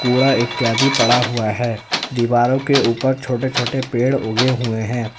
कूड़ा इत्यादि पड़ा हुआ है दीवारों के ऊपर छोटे छोटे पेड़ उगे हुए हैं।